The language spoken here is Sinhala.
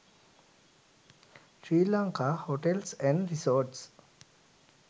sri lanka hotels and resorts